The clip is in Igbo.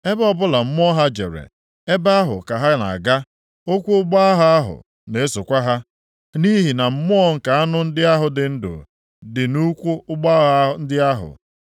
Ebe ọbụla mmụọ ha jere, ebe ahụ ka ha na-aga, ụkwụ ụgbọ agha ahụ na-esokwa ha, nʼihi na mmụọ nke anụ ndị ahụ dị ndụ dị nʼụkwụ ụgbọ agha ndị ahụ.